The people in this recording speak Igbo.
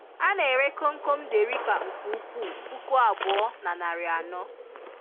A na-ere komkom derica nke ukwuu puku abụọ na narị anọ.